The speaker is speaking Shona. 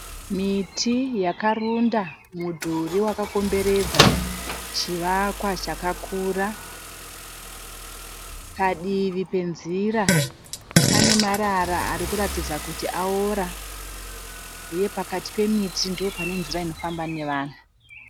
Miti yakarunda mudhuri wakakomberedza chivakwa chakakura. Padivi penzira pane marara ari kuratidza kuti aora. Uye pakati pemiti ndipo pane nzira inofamba nevanhu.